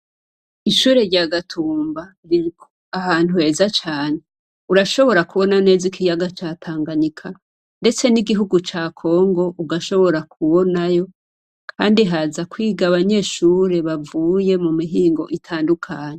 Ishure rya Gatumba riri ahantu heza cane. Urashobora kubona neza ikiyaga ca Tanganyika ndetse n'igihugu ca Congo ugashobora kubonayo kandi haza kwiga abanyeshure bavuye mu mihingo itandukanye.